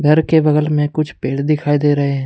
घर के बगल में कुछ पेड़ दिखाई दे रहे हैं।